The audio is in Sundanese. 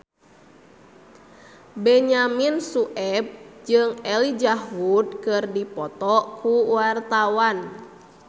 Benyamin Sueb jeung Elijah Wood keur dipoto ku wartawan